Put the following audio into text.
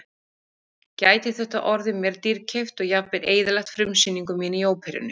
Gæti þetta orðið mér dýrkeypt og jafnvel eyðilagt frumsýningu mína í óperunni.